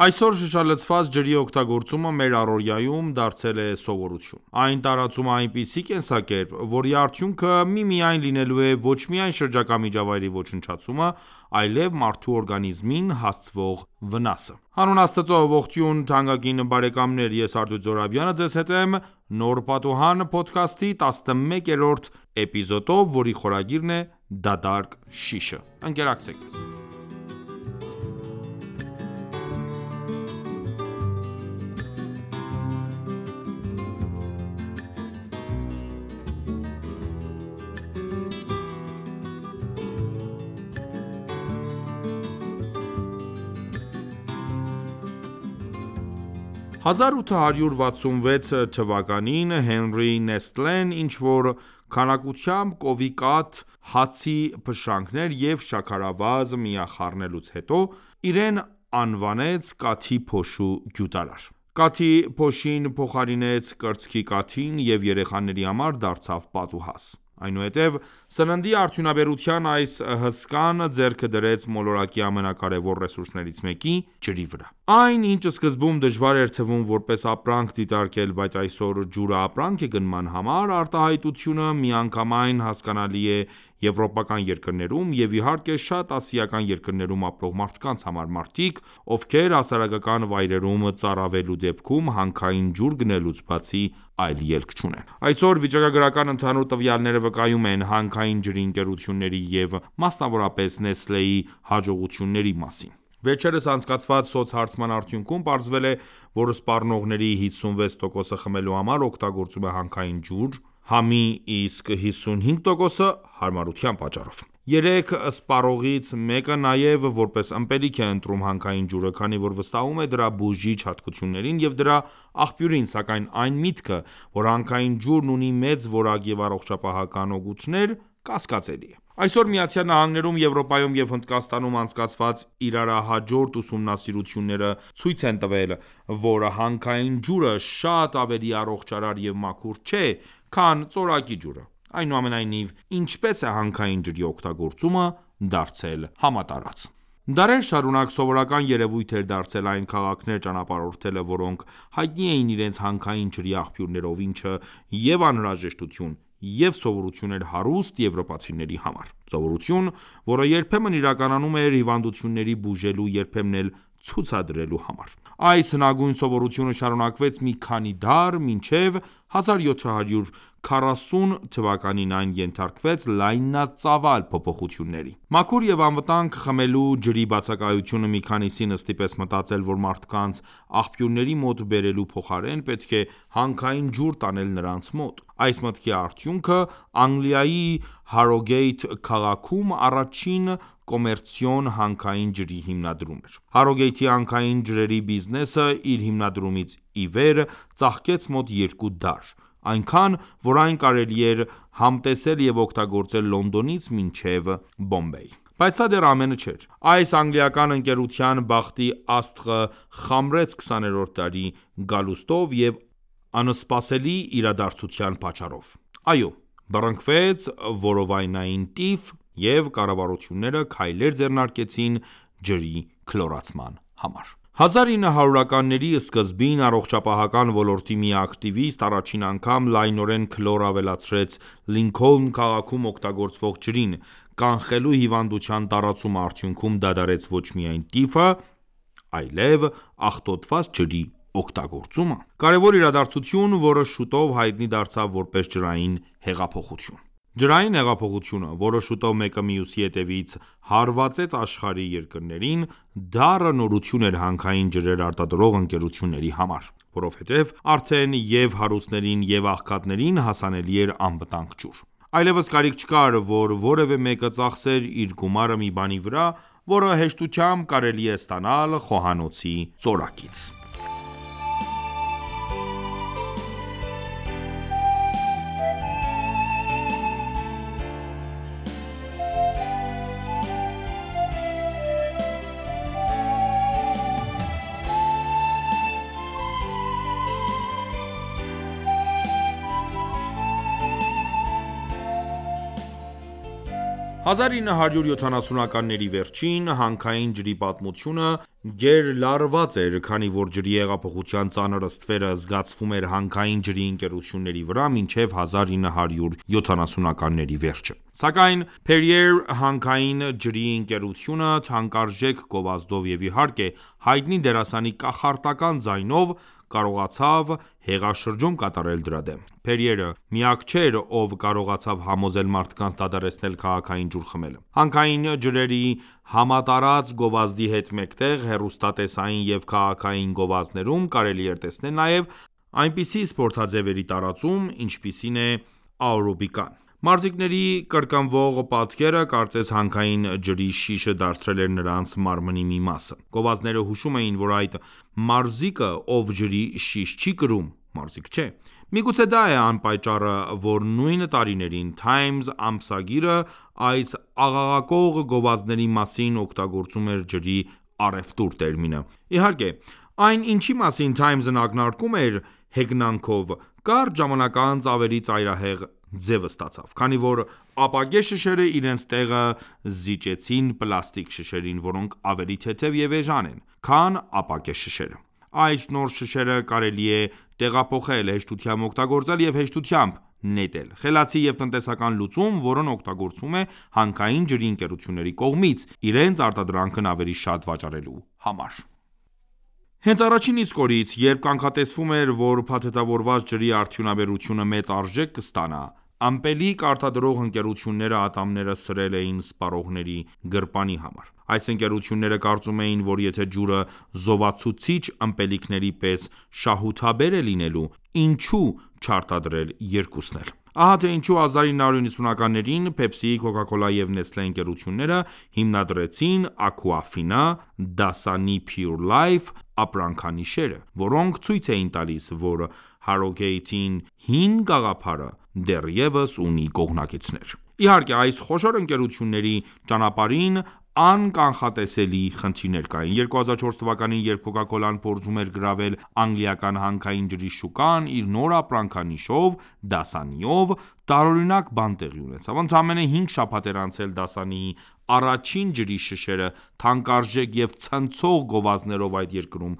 Այսօր շշալցված ջրի օգտագործումը մեր առօրյայում դարձել է սովորություն։ Այն տարածում է այնպիսի կենսակերպ, որի արդյունքը միմիայն լինելու է ոչ միայն շրջակա միջավայրի ոչնչացումը, այլև մարդու օրգանիզմին հասցվող վնասը: Հանուն Աստծո Նոր լուսամուտ Հեղինակ՝ Աթեֆե Մուսավյան Մաս 11-րդ՝ դատարկ շիշը 1866 թվականին Հենրի Նեստլեն ինչ-որ քանակությամբ կովի կաթ, հացի փշրանքներ և շաքարավազ միախառնելուց հետո, իրեն անվանեց կաթի փոշու գյուտարար։ Կաթի փոշին փոխարինեց կրծքի կաթին և երեխաների համար դարձավ պատուհաս։ Այնուհետև սննդի արդյունաբերության այս հսկան ձեռքը դրեց մոլորակի ամենակարևոր ռեսուրսներից մեկի՝ ջրի վրա։ Այն, ինչ սկզբում դժվար էր թվում որպես ապրանք դիտարկել, բայց այսօր «ջուրը ապրանք է գնման համար» արտահայտությունը միանգամայն հասկանալի է եվրոպական երկրներում և, իհարկե, շատ ասիական երկրներում ապրող մարդկանց համար: Մարդիկ, ովքեր հասարակական վայրերում ծարավելու դեպքում հանքային ջուր գնելուց բացի այլ ելք չունեն։ Այսօր վիճակագրական ընդհանուր տվյալները վկայում են՝ հանքային ջրի ընկերությունների և մասնավորապես Nestlé-ի հաջողությունների մասին։ Վերջերս անցկացված սոցհարցման արդյունքում պարզվել է, որ սպառողների 56%-ը խմելու համար օգտագործում է հանքային ջուր՝ համի, իսկ 55%-ը՝ հարմարության պատճառով: Երեք սպառողից մեկը նաև որպես ըմպելիք է ընտրում հանքային ջուրը, քանի որ վստահում է դրա բուժիչ հատկություններին և դրա աղբյուրին, սակայն այն միտքը, որ հանքային ջուրն ունի մեծ որակ և առողջապահական օգուտներ, կասկածելի է: Այսօր ԱՄՆ-ում, Եվրոպայում և Հնդկաստանում անցկացված իրարահաջորդ ուսումնասիրությունները ցույց են տվել, որ հանքային ջուրը շատ ավելի առողջարար և մաքուր չէ, քան ծորակի ջուրը։ Այնուամենայնիվ, ինչպե՞ս է հանքային ջրի օգագործումը դարձել համատարած։ Դարեր շարունակ սովորական երևույթ էր դարձել այն քաղաքներ ճանապարհորդելը, որոնք հայտնի էին իրենց հանքային ջրի աղբյուրներով, ինչը և՛ անհրաժեշտություն, և՛ սովորություն էր հարուստ եվրոպացիների համար։ Սովորություն, որը երբեմն իրականանում էր հիվանդությունները բուժելու, երբեմն էլ ցուցադրելու համար: Այս հնագույն սովորությունը շարունակվեց մի քանի դար, մինչև 1740 թվականին այն ենթարկվեց լայնածավալ փոփոխությունների։ Մաքուր և անվտանգ խմելու ջրի բացակայությունը մի քանիսին ստիպեց մտածել, որ մարդկանց աղբյուրների մոտ բերելու փոխարեն պետք է հանքային ջուր տանել նրանց մոտ։ Այս մտքի արդյունքը Անգլիայի Հարոգեյթ քաղաքում առաջին կոմերցիոն հանքային ջրի հիմնադրումն էր։ Harrogate-ի հանքային ջրերի բիզնեսը իր հիմնադրումից ի վեր ծաղկեց մոտ երկու դար, այնքան, որ այն կարելի էր համտեսել և օգտագործել Լոնդոնից մինչև Բոմբեյ։ Բայց սա դեռ ամենը չէր։ Այս անգլիական ընկերության բախտի աստղը խամրեց 20-րդ դարի գալուստով և անսպասելի իրադարձության պատճառով։ Այո, բռնակվեց որովայնային տիֆ և կառավարությունները քայլեր ձեռնարկեցին ջրի քլորացման համար։ 1900-ականների սկզբին առողջապահական ոլորտի մի ակտիվիստ առաջին անգամ լայնորեն քլոր ավելացրեց Լինքոլն քաղաքում օգտագործվող ջրին՝ կանխելու հիվանդության տարածումը, արդյունքում դադարեց ոչ միայն տիֆը, այլև աղտոտված ջրի օգտագործումը։ Կարևոր իրադարձություն, որը շուտով հայտնի դարձավ որպես ջրային հեղափոխություն: Ջրային հեղափոխությունը, որը շուտով մեկը մյուսի հետևից հարվածեց աշխարհի երկրներին, դառը նորություն էր հանքային ջրեր արտադրող ընկերությունների համար, որովհետև արդեն և՛ հարուստներին, և՛ աղքատներին հասանելի էր անվտանգ ջուր։ Այլևս կարիք չկար, որ որևէ մեկը ծախսեր իր գումարը մի բանի վրա, որը հեշտությամբ կարելի է ստանալ խոհանոցի ծորակից։ 1970-ականների վերջին, հանքային ջրի պատմությունը գերլարված էր, քանի որ ջրի հեղափոխության ծանր ստվերը զգացվում էր հանքային ջրի ընկերությունների վրա մինչև 1970-ականների վերջը։ Սակայն Perrier հանքային ջրի ընկերությունը թանկարժեք գովազդով և իհարկե հայտնի դերասանի կախարդական ձայնով կարողացավ հեղաշրջում կատարել դրա դեմ։ Perrier-ը միակը չէր, ով կարողացավ համոզել մարդկանց դադարեցնել քաղաքային ջուր խմելը։ Հանքային ջրերի համատարած գովազդի հետ մեկտեղ հեռուստատեսային և քաղաքային գովազդներում կարելի էր տեսնել նաև այնպիսի սպորտաձևերի տարածում, ինչպիսին է աերոբիկան: Մարզիկների կրկնվող պատկերը, կարծես հանքային ջրի շիշը դարձել էր նրանց մարմնի մի մասը։ Գովազդները հուշում էին, որ այն մարզիկը, ով ջրի շիշ չի կրում, մարզիկ չէ։ Միգուցե դա է պատճառը, որ նույն տարիներին «Թայմս» ամսագիրը այս աղաղակող գովազդների մասին օգտագործում էր «ջրի առևտուր» տերմինը։ Իհարկե, այն, ինչի մասին «Թայմս»-ն ակնարկում էր հեգնանքով, կարճ ժամանակ անց ավելի ծայրահեղ ձև ստացավ։ Քանի որ ապակե շշերը իրենց տեղը զիջեցին պլաստիկ շշերին, որոնք ավելի թեթև և էժան են, քան ապակե շշերը։ Այս նոր շշերը կարելի է տեղափոխել, հեշտությամբ օգտագործել և հեշտությամբ նետել: Խելացի և տնտեսական լուծում, որն օգտագործվում է հանքային ջրի ընկերությունների կողմից՝ իրենց արտադրանքն ավելի շատ վաճառելու համար: Հենց առաջին իսկ օրերից, երբ կանխատեսվում էր, որ փաթեթավորված ջրի արդյունաբերությունը մեծ արժեք կստանա, ըմպելիք արտադրող ընկերությունները ատամները սրել էին սպառողների գրպանի համար։ Այս ընկերությունները կարծում էին, որ եթե ջուրը զովացուցիչ ըմպելիքների պես շահութաբեր է լինելու, ինչո՞ւ չարտադրել երկուսն էլ։ Ահա թե ինչու 1990-ականներին Pepsi, Coca-Cola և Nestlé ընկերությունները հիմնադրեցին AQUAFINA, Dasani PURE LIFE ապրանքանիշերը, որոնք ցույց էին տալիս, որ Harrogate-ի հին գաղափարը դեռևս ունի կողմնակիցներ։ Իհարկե, այս խոշոր ընկերությունների ճանապարհին անկանխատեսելի խնդիրներ կային։ 2004 թվականին, երբ Coca-Cola-ն փորձում էր գրավել անգլիական հանքային ջրի շուկան իր նոր ապրանքանիշով՝ Dasani-ով, տարօրինակ բան տեղի ունեցավ։ Ընդամենը 5 շաբաթ էր անցել Dasani-ի առաջին ջրի շշերը թանկարժեք և ցնցող գովազդներով այդ երկրում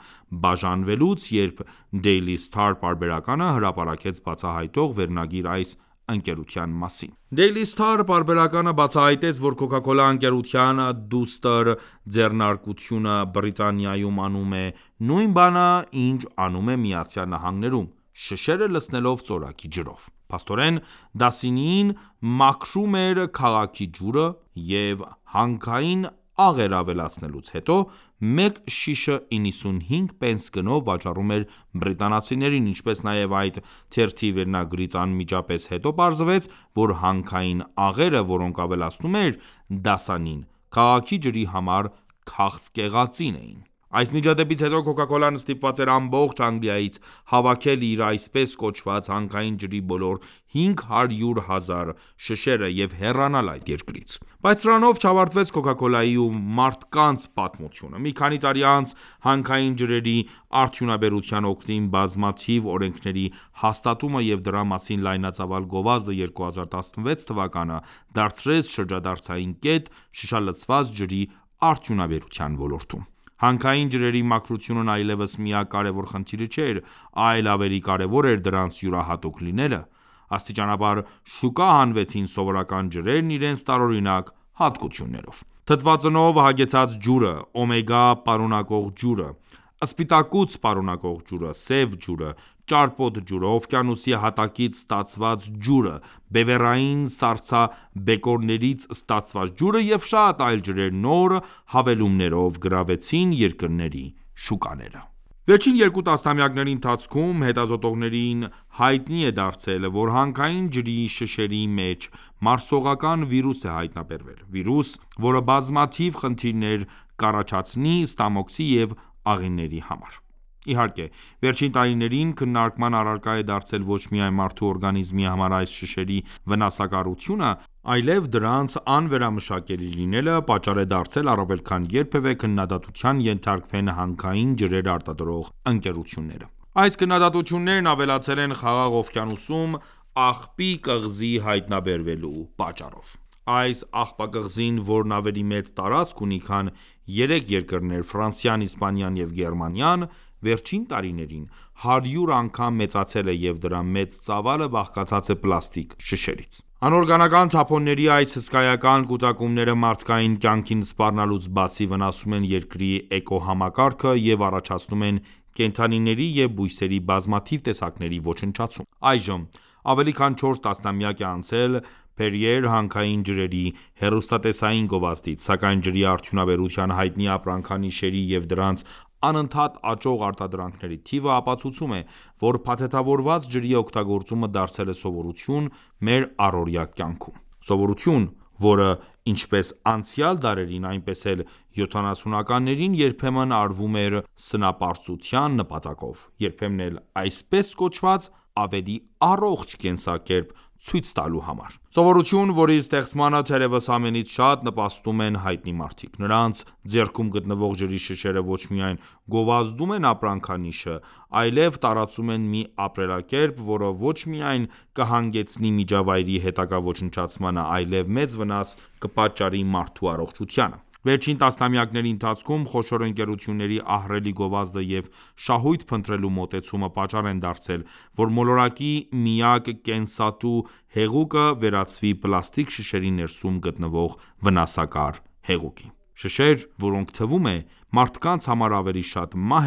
բաժանվելուց, երբ Daily Star պարբերականը հրապարակեց բացահայտող վերնագիր այս ընկերության մասին։ Daily Star պարբերականը բացահայտեց, որ Coca-Cola ընկերության դուստր ձեռնարկությունը Բրիտանիայում անում է նույն բանը, ինչ անում է ԱՄՆ-ում՝ շշերը լցնելով ծորակի ջրով։ Փաստորեն, Dasani-ին մաքրում էր քաղաքի ջուրը և հանքային աղեր ավելացնելուց հետո, մեկ շիշը 95 պենս գնով վաճառում էր բրիտանացիներին, ինչպես նաև այդ թերթի վերնագրից անմիջապես հետո պարզվեց, որ հանքային աղերը, որոնք ավելացնում էր Dasani-ն քաղաքի ջրի համար քաղցկեղածին էին։ Այս միջադեպից հետո Coca-Cola-ն ստիպված էր ամբողջ Անգլիայից հավաքել իր, այսպես կոչված, հանքային ջրի բոլոր 500,000 շշերը և հեռանալ այդ երկրից: Բայց սրանով չավարտվեց Coca-Cola-ի ու մարդկանց պատմությունը։ Մի քանի տարի անց հանքային ջրերի արդյունաբերության օգտին բազմաթիվ օրենքների հաստատումը և դրա մասին լայնածավալ գովազդը 2016 թվականը դարձրեց շրջադարձային կետ շշալցված ջրի արդյունաբերության ոլորտում։ Հանքային ջրերի մաքրությունն այլևս միակ կարևոր խնդիրը չէր, այլ ավելի կարևոր էր դրանց յուրահատուկ լինելը։ Աստիճանաբար շուկա հանվեցին սովորական ջրերն իրենց տարօրինակ հատկություններով... Թթվածնով հագեցած ջուրը, օմեգա պարունակող ջուրը, սպիտակուց պարունակող ջուրը, սև ջուրը, ճարպոտ ջուրը, օվկիանոսի հատակից ստացված ջուրը, բևեռային սառցաբեկորներից ստացված ջուրը և շատ այլ ջրեր նոր հավելումներով գրավեցին երկրների շուկաները։ Վերջին երկու տասնամյակների ընթացքում հետազոտողները հայտնել են, որ հանքային ջրի շշերի մեջ մարսողական վիրուս է հայտնաբերվել։ Վիրուս, որը բազմաթիվ խնդիրներ կառաջացնի ստամոքսի և աղիների համար։ Իհարկե, վերջին տարիներին քննարկման առարկա է դարձել ոչ միայն մարդու օրգանիզմի համար այս շշերի վնասակարությունը, այլև դրանց անվերամշակելի լինելը պատճառ է դարձել առավել քան երբևէ քննադատության ենթարկվեն հանքային ջրեր արտադրող ընկերությունները։ Այս քննադատություններն ավելացել են Խաղաղ օվկիանոսում աղբի կղզի հայտնաբերվելու պատճառով։ Այս աղբակղզին, որն ավելի մեծ տարածք ունի, քան երեք երկրներ՝ Ֆրանսիան, Իսպանիան և Գերմանիան, վերջին տարիներին 100 անգամ մեծացել է, և դրա մեծ ծավալը բաղկացած է պլաստիկ շշերից։ Անօրգանական թափոնների այս հսկայական կուտակումները մարդկային կյանքին սպառնալուց բացի, վնասում են Երկրի էկոհամակարգը և առաջացնում են կենդանիների և բույսերի բազմաթիվ տեսակների ոչնչացում: Այժմ ավելի քան չորս տասնամյակ է անցել Perrier հանքային ջրերի հեռուստատեսային գովազդից, սակայն ջրի արդյունաբերության հայտնի ապրանքանիշերի և դրանց անընդհատ աճող արտադրանքների թիվը ապացուցում է, որ փաթեթավորված ջրի օգտագործումը դարձել է սովորություն մեր առօրյա կյանքում։ Սովորություն, որը, ինչպես անցյալ դարերին, այնպես էլ 70-ականներին երբեմն արվում է սնապարծության նպատակով, երբեմն էլ այսպես կոչված «ավելի առողջ կենսակերպ» ցույց տալու համար։ Սովորություն, որի ստեղծմանը թերեւս ամենից շատ նպաստում են հայտնի մարդիկ։ Նրանց ձեռքում գտնվող ջրի շշերը ոչ միայն գովազդում են ապրանքանիշը, այլև տարածում են մի ապրելակերպ, որը ոչ միայն կհանգեցնի միջավայրի հետագա ոչնչացմանը, այլև մեծ վնաս կպատճառի մարդու առողջությանը։ Վերջին տասնամյակների ընթացքում խոշոր ընկերությունների ահռելի գովազդը և շահույթ փնտրելու մոտեցումը պատճառ են դարձել, որ մոլորակի միակ կենսատու հեղուկը վերածվի պլաստիկ շշերի ներսում գտնվող վնասակար հեղուկի։ Շշեր, որոնք, թվում է, մարդկանց համար ավելի շատ մահ